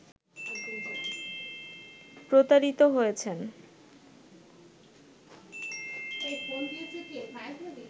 প্রতারিত হয়েছেন